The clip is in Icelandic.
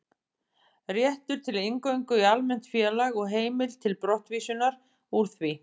Réttur til inngöngu í almennt félag og heimild til brottvísunar úr því.